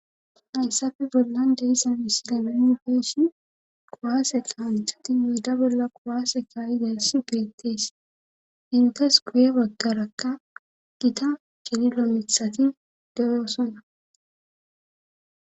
Hayssafe bollan deissa misilemeu feeshi qowaase qahanthati miida bolla qowaase kaa'i dessi peettees intes guye baggarakka gita cililo mithatin de'osona